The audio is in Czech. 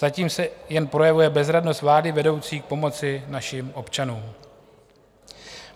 Zatím se jen projevuje bezradnost vlády vedoucí k pomoci našim občanům.